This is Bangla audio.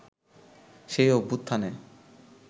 সেই অভ্যুত্থানে